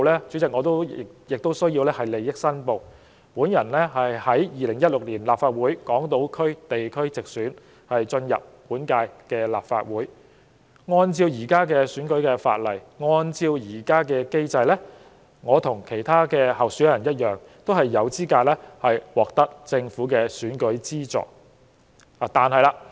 主席，我在此要作利益申報，我經由2016年立法會港島區地區直選晉身本屆立法會，按照現行選舉法例和機制，我與其他候選人均有資格獲得政府的選舉資助。